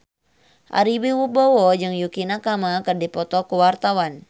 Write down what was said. Ari Wibowo jeung Yukie Nakama keur dipoto ku wartawan